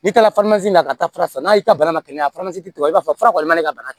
N'i taara na ka taa fara n'a y'i ta bana na kɛnɛya tɔgɔ i b'a fɔ fura kɔni man di ka bana